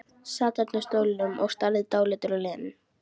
Sat þarna á stólnum, starði dáleiddur á Lenu.